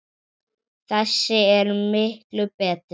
Þessi er miklu betri.